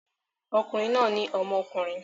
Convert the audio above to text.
Okùnrin náà ní ọmọkùnrin.